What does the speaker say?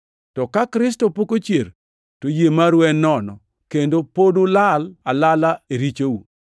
To ka Kristo pok ochier, to yie maru en nono; kendo pod ulal alala e richou.